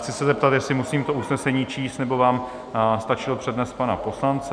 Chci se zeptat, jestli musím to usnesení číst, nebo vám stačil přednes pana poslance?